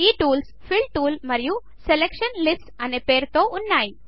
ఈ టూల్స్ల fill tool మరియు సెలక్షన్ లిస్ట్స్ అనే పేరుతో ఉన్నాయి